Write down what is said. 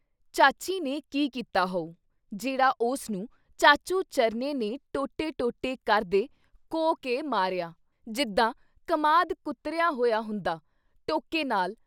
ਚਾਚੀ ਨੇ ਕੀ ਕੀਤਾ ਹੋਉ ? ਜਿਹੜਾ ਉਸ ਨੂੰ ਚਾਚੂ ਚਰਨੇ ਨੇ ਟੋਟੇ-ਟੋਟੇ ਕਰਦੇ ਕੋਹ ਕੇ ਮਾਰਿਆ! ਜਿੱਦਾਂ ਕਮਾਦ ਕੁਤਰਿਆ ਹੋਇਆ ਹੁੰਦਾ। ਟੋਕੇ ਨਾਲ